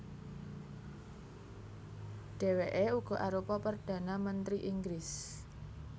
Dhèwèké uga arupa perdhana mentri Inggris